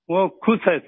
वो खुश है सर